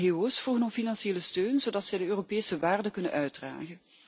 Ngo's vroegen om financiële steun, zodat ze de Europese waarden kunnen uitdragen.